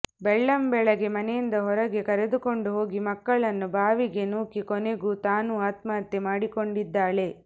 ಬೆಳ್ಳಂಬೆಳಗ್ಗೆ ಮನೆಯಿಂದ ಹೊರಗೆ ಕರೆದುಕೊಂಡು ಹೋಗಿ ಮಕ್ಕಳನ್ನು ಬಾವಿಗೆ ನೂಕಿ ಕೊನೆಗೂ ತಾನೂ ಆತ್ಮಹತ್ಯೆ ಮಾಡಿಕೊಂಡಿದ್ದಾಳೆ